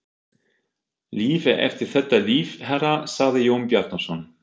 Líf er eftir þetta líf, herra, sagði Jón Bjarnason.